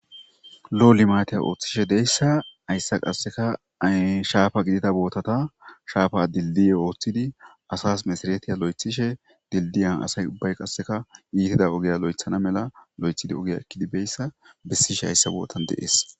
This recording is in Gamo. Lo7o limaatiya ooththishe de7eyssa hayssa qasseka ee shaafa gidita bootata shaafa dilddiye ooththidi asas mesaretiya loythishe dilddiya asay ubbay qasseka iitida ogiya loythana mala lo7ethidi ogiya ekkidi beyssa bessishe hayssa bootan de7ees.